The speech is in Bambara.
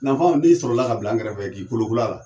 Nanfan o ne sɔrɔ ka bila an kɛrɛfɛ ye k'i kolokol'ala